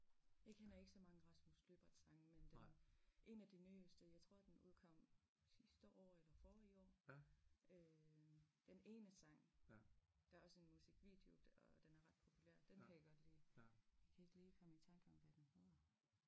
Jeg kender ikke så mange Rasmus Lyberth sange men dem en af de nyeste jeg tror den udkom sidste år eller forrige år øh den ene sang der også en musikvideo og den er ret populær den kan jeg godt lide jeg kan ikke lige komme i tanke om hvad den hedder